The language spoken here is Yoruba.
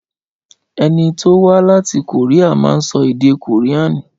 Ẹni tí o wá láti Kòríà ma ń sọ èdè kòríànì